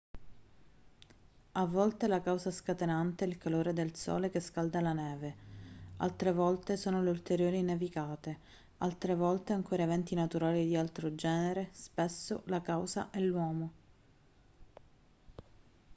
a volte la causa scatenante è il calore del sole che scalda la neve altre volte sono le ulteriori nevicate altre volte ancora eventi naturali di altro genere spesso la causa è l'uomo